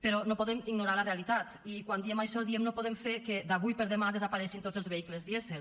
però no podem ignorar la realitat i quan diem això diem no podem fer que d’avui per demà desapareguin tots els vehicles dièsel